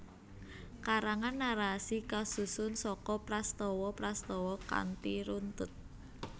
Karangan narasi kasusun saka prastawa prastawa kanthi runtut